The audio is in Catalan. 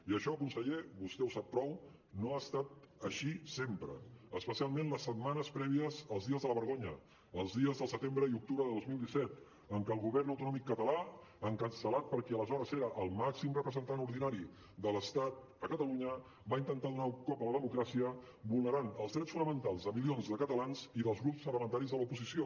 i això conseller vostè ho sap prou no ha estat així sempre especialment les setmanes prèvies als dies de la vergonya els dies de setembre i octubre de dos mil disset en què el govern autonòmic català encapçalat per qui aleshores era el màxim representant ordinari de l’estat a catalunya va intentar donar un cop a la democràcia vulnerant els drets fonamentals de milions de catalans i dels grups parlamentaris de l’oposició